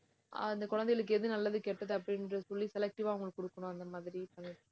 அந்த குழந்தைகளுக்கு எது நல்லது, கெட்டது அப்படின்னு சொல்லி selective ஆ அவங்களுக்குக் கொடுக்கணும் அந்த மாதிரி